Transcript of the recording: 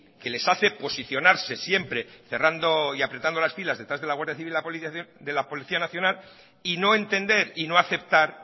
que les hace posicionarse siempre cerrando y apretando las filas detrás de la guardia civil y de la policía nacional y no entender y no aceptar